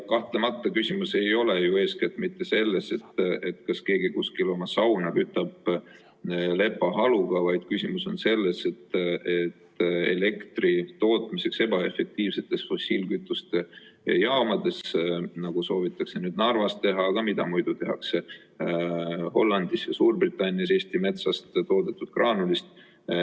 Kahtlemata, küsimus ei ole ju eeskätt mitte selles, kas keegi kuskil oma sauna kütab lepahaluga, vaid küsimus on elektri tootmises ebaefektiivsetes fossiilkütuste jaamades sel viisil, nagu soovitakse nüüd ka Narvas teha, aga mida muidu tehakse Hollandis ja Suurbritannias Eesti metsast toodetud graanulist.